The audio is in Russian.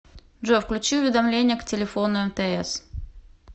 джой включи уведомления к телефону мтс